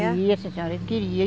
né? Queria, sim senhora, ele queria.